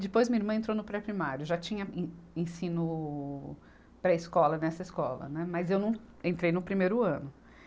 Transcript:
Depois minha irmã entrou no pré-primário, já tinha en ensino pré-escola nessa escola, né, mas eu não entrei no primeiro ano.